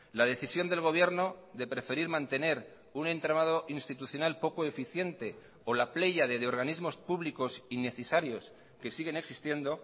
la decisión del gobierno de preferir mantener un entramado institucional poco eficiente o la pléyade de organismos públicos innecesarios que siguen existiendo